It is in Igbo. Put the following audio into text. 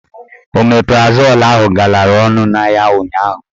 Omeprazol ahụ galara ọnụ n'ahịa ụnyaahụ.